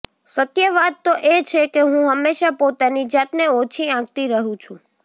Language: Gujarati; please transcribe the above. સત્ય વાત તો એ છે કે હું હંમેશા પોતાની જાતને ઓછી આંકતી રહી છુ